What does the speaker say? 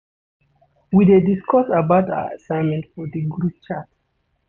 We dey discuss about our assignment for di group chat.